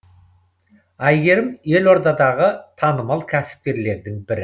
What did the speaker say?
әйгерім елордадағы танымал кәсіпкерлердің бірі